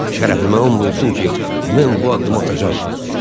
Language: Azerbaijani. Şərəfimə and olsun ki, mən bu addımı atacağam.